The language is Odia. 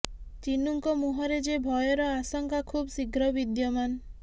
ଚିନୁଙ୍କ ମୁହଁରେ ଯେ ଭୟର ଆଶଙ୍କା ଖୁବ ଶୀଘ୍ର ବିଦ୍ୟମାନ